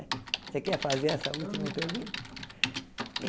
Você quer fazer essa última pergunta?